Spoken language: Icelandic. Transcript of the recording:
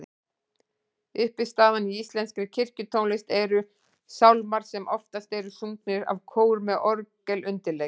Uppistaðan í íslenskri kirkjutónlist eru sálmar sem oftast eru sungnir af kór með orgelundirleik.